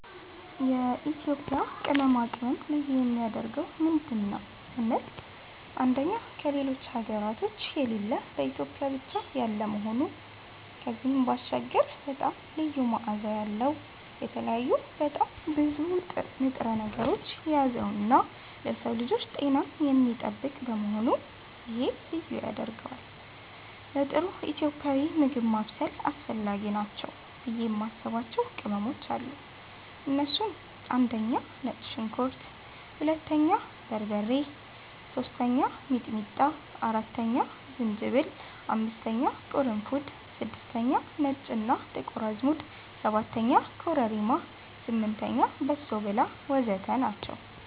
የኢትዮጵያ ቅመማ ቅመም ልዩ የሚያደርገው ምንድን ነው ስንል አንደኛ ከሌሎች ሀገራቶች የሌለ በኢትዮጵያ ብቻ ያለ መሆኑ ከዚህም ባሻገር በጣም ልዩ መዓዛ ያለዉ፣ የተለያዩ በጣም ብዙ ንጥረ ነገሮችን የያዘነዉና ለሰዉ ልጆች ጤናን የሚጠብቅ በመሆኑ ይሄ ልዩ ያደርገዋል። ለጥሩ ኢትዮጵያዊ ምግብ ማብሰል አስፈላጊ ናቸው ብዬ የማስባቸዉ ቅመሞች አሉ እነሱም፦ 1)ነጭ ሽንኩርት 2)በርበሬ 3)ሚጥሚጣ 4)ዝንጅብል 5)ቅርንፉድ 6)ነጭ እና ጥቁር አዝሙድ 7)ኮረሪማ 8)በሶብላ ወዘተ ናቸዉ።